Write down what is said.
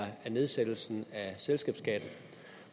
nedsættelsen af selskabsskatten